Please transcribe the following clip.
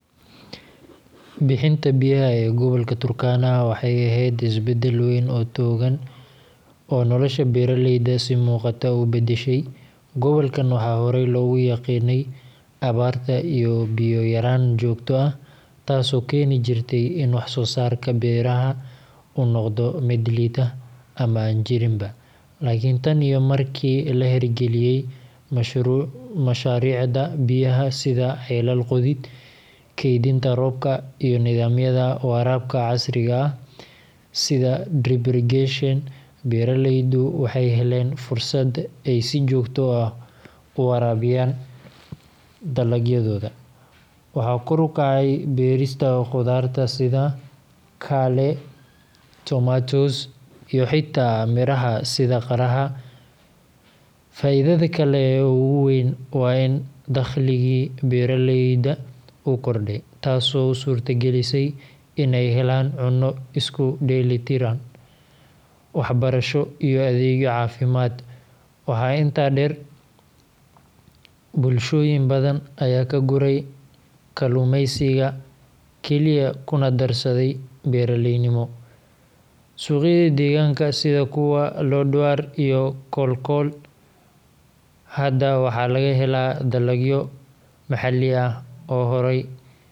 Bixinta biyaha ee gobolka Turkana waxay ahayd isbeddel weyn oo togan oo nolosha beeraleyda si muuqata u beddeshay. Gobolkan waxaa horey loogu yaqiinnay abaarta iyo biyo yaraan joogto ah, taasoo keeni jirtay in wax-soo-saarka beeraha uu noqdo mid liita ama aan jirinba. Laakiin tan iyo markii la hirgeliyay mashaariicda biyaha sida ceelal qodid, kaydinta roobka, iyo nidaamyada waraabka casriga ah sida drip irrigation, beeraleydu waxay heleen fursad ay si joogto ah u waraabiyaan dalagyadooda. Waxaa kor u kacay beerista khudaarta sida kale, tomatoes, iyo xitaa miraha sida qaraha. Faa’iidada kale ee ugu weyn waa in dakhligii beeraleyda uu kordhay, taasoo u suurtagelisay in ay helaan cunno isku dheelli tiran, waxbarasho, iyo adeegyo caafimaad. Waxaa intaa dheer, bulshooyin badan ayaa ka guuray kaluumeysiga keliya kuna darsaday beeraleynimo. Suuqyada deegaanka sida kuwa Lodwar iyo Kalokol hadda waxaa laga helaa dalagyo maxalli ah oo horay laga keeni jiray.